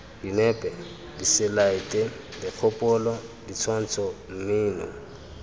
dinepe diselaete dikgopolo ditshwantsho mmino